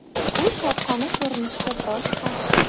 U sharqona ko‘rinishga biroz qarshi.